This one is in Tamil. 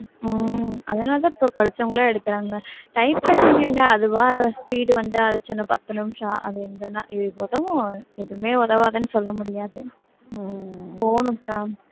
உம் அதனாலதான் இப்ப படிச்சவங்களா எடுக்கறாங்க typewriting என்ன அதுவா speed வந்து அடிச்சா என்ன பத்து நிமிஷம் அது எங்கன்னா~ உதவும் எதுவுமே உதவாதுன்னு சொல்ல முடியாது போகணும்கா